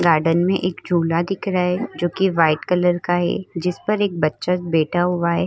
Garden में एक झूला दिखा रहा हैं जोकि व्हाइट कलर का है। जिस पर एक बच्चा बैठा हुआ है।